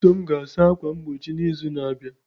Chisom ga-asa ákwà mgbochi n'izu na-abịa.